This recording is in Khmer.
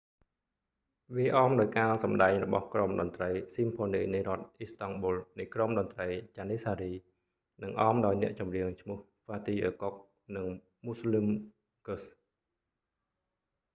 វាអមដោយ​ការ​សម្ដែង​របស់​ក្រុមតន្ត្រី​ស៊ីមផូនីនៃ​រដ្ឋ​អ៊ីស្តង់​ប៊ុល​នៃក្រុម​តន្ត្រី​ janissary និង​អម​ដោយ​អ្នក​ចម្រៀង​ឈ្មោះ​ fatih erkoç និង müslüm gürses។